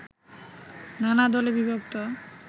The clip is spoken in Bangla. নানা দলে বিভক্ত